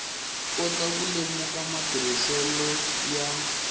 kota ku lemuka matirhiselo ya